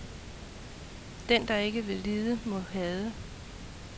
Den der ikke vil lide må hade.